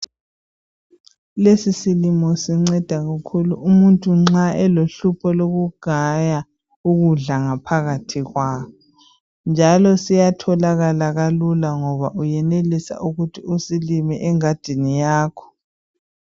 lezi silimo sinceda kakhulu umuntu nxa elohlupho lokugaya ukudla ngaphathi kwakhe njalo siyatholakala kalula ngoba uyenelisa ukuthi usilime engadini yakho